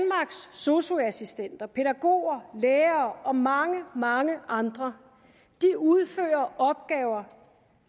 sosu assistenter pædagoger lærere og mange mange andre udfører opgaver